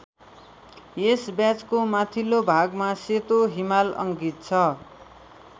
यस ब्याजको माथिल्लो भागमा सेतो हिमाल अङ्कित छ।